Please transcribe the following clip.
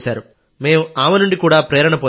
మేం ఆమె నుండి కూడా ప్రేరణ పొందాం